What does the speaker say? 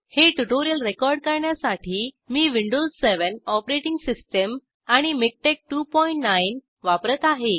हे tutorial record करण्यासाठी मी विंडोज7 ऑपरेटिंग सिस्टम आणि मिकटेक्स29 वापरत आहे